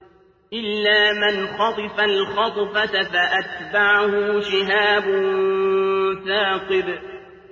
إِلَّا مَنْ خَطِفَ الْخَطْفَةَ فَأَتْبَعَهُ شِهَابٌ ثَاقِبٌ